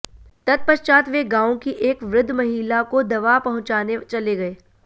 तत्पश्चात वे गांव की एक वृद्ध महिला को दवा पहुंचाने चले गए